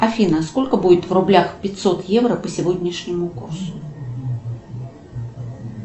афина сколько будет в рублях пятьсот евро по сегодняшнему курсу